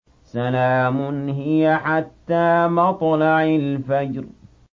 سَلَامٌ هِيَ حَتَّىٰ مَطْلَعِ الْفَجْرِ